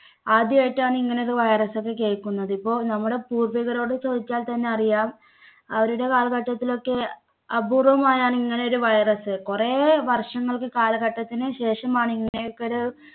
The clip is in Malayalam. ആദ്യായിട്ടാണ് ഇങ്ങനെ ഒരു virus ഒക്കെ കേൾക്കുന്നത്. ഇപ്പോ നമ്മുടെ പൂർവികരോട് ചോദിച്ചാൽ തന്നെ അറിയാം അവരുടെ കാലഘട്ടത്തിൽ ഒക്കെ അപൂർവമായാണ് ഇങ്ങനെ ഒരു virus കുറേ വർഷങ്ങൾക്ക് കാലഘട്ടത്തിനു ശേഷമാണ് ഇങ്ങനെയൊക്കെ ഒരു